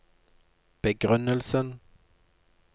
begrunnelsen